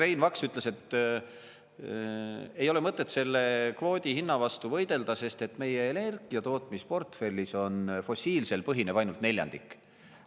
Rein Vaks ütles, et ei ole mõtet selle kvoodi hinna vastu võidelda, sest meie energiatootmisportfellis fossiilsel põhineb ainult neljandik.